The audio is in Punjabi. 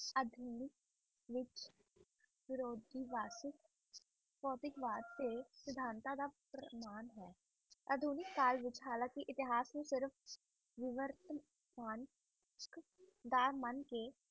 ਹਾਲ ਕ ਢੋਵੀ ਸਾਲ